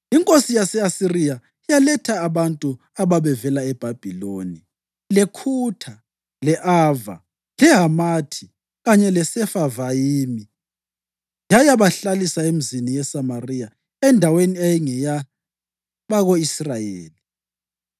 Inkosi yase-Asiriya yaletha abantu ababevela eBhabhiloni, leKhutha, le-Ava, leHamathi kanye leSefavayimi yayabahlalisa emizini yeSamariya endaweni eyayingeyabako-Israyeli.